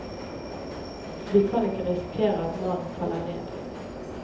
Vi kan ikke risikere at mannen faller ned.